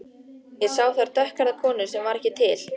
Ég sá þar dökkhærða konu sem var ekki til.